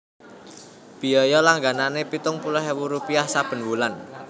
Biaya langganané pitung puluh ewu rupiah saben wulan